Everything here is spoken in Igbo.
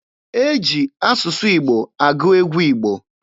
E ji asụsụ Igbo agụ egwu Igbo.